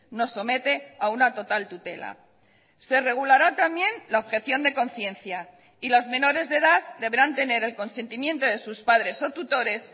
nos somete a una total tutela se regulará también la objeción de conciencia y las menores de edad deberán tener el consentimiento de sus padres o tutores